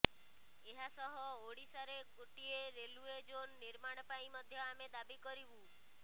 ଏହାସହ ଓଡ଼ିଶାରେ ଗୋଟିଏ ରେଲୱେ ଜୋନ୍ ନିର୍ମାଣ ପାଇଁ ମଧ୍ୟ ଆମେ ଦାବି କରିବୁ